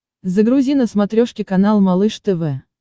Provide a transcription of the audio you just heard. загрузи на смотрешке канал малыш тв